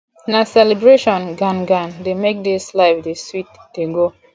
na celebration gan gan dey make dis life dey sweet dey go